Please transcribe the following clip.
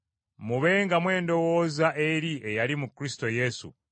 Mubengamu endowooza eri eyali mu Kristo Yesu,